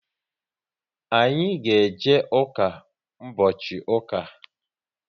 Anyị ga eje ụka mbochi ụka